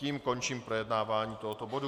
Tím končím projednávání tohoto bodu.